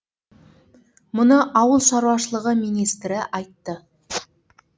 мұны ауыл шаруашылығы министрі айтты